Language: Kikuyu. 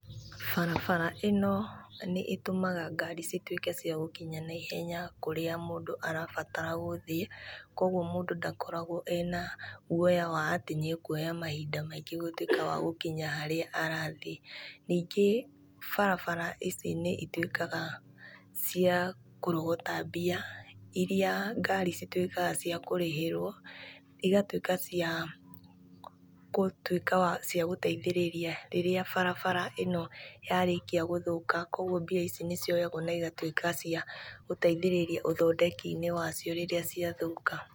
Barabara ĩno nĩ ĩtũmaga ngaari cituĩke cia gũkinya naihenya kũrĩa mũndũ arabatara gũthiĩ, koguo mũndũ ndakoragwo ena guoya wa atĩ nĩ akuoya mahinda maingĩ gũtuĩka wa gũkinya harĩa arathiĩ, ningĩ barabara ici nĩ ituĩkaga cia kũrogota mbia, iria ngaari cituĩkaga cia kũrĩhĩrwo, igatuĩka cia gũtuĩka wa cia gũteithĩrĩria rĩrĩa barabara ĩno ya rĩkia gũthũka, koguo mbia ici nĩ cioyagwo na igatuĩka cia gũteithĩrĩria ũthondeki-inĩ wacio rĩrĩa cia thũka.